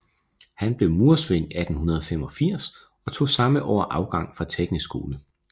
Han blev murersvend 1885 og tog samme år afgang fra Teknisk Skole